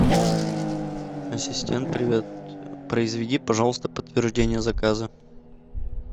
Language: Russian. ассистент привет произведи пожалуйста подтверждение заказа